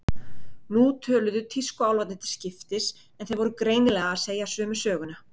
Nú töluðu tískuálfarnir til skiptis, en þeir voru greinilega að segja sömu söguna.